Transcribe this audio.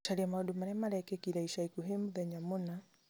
gũcaria maũndũ marĩa marekĩkire ica ikuhĩ mũthenya mũna